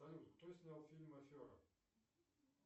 салют кто снял фильм афера